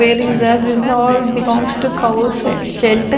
wearing that this is all belongs to cow's se shed.